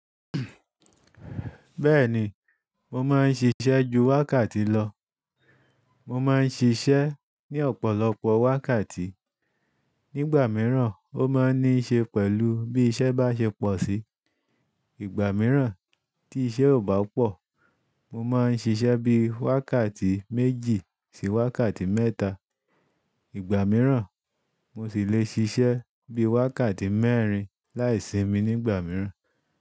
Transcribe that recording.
Bẹ́ẹ̀ni, mo máa ń ṣiṣẹ́ ju wákàtí lọ. Mo máa ń ṣiṣẹ́ ní ọ̀pọ̀lọpọ̀ wákàtí. Nígbà mìíràn ó máa ń ní ṣe pẹ̀lú bí iṣẹ́ bá ṣe pọ̀ sí. Ìgbà mìíràn tí iṣẹ́ ò bá pọ̀, mo máa ń ṣiṣẹ́ bí i wákàtí méjì sí wákàtí mẹ́ta. Ìgbà mìíràn mo sì le ṣiṣẹ́ bí i wákàtí mẹ́rin láì ṣimi nígbà mìíràn.